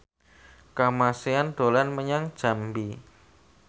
Kamasean dolan menyang Jambi